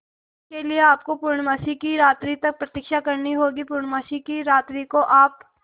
इसके लिए आपको पूर्णमासी की रात्रि तक प्रतीक्षा करनी होगी पूर्णमासी की रात्रि को आप